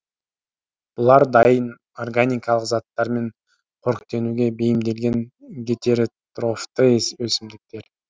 бұлар дайын органикалық заттармен қоректенуге бейімделген гетеретрофты өсімдіктер